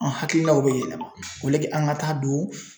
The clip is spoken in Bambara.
An hakilinaw be yɛlɛma aleke an ga taa don